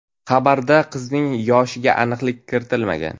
Xabarda qizning yoshiga aniqlik kiritilmagan.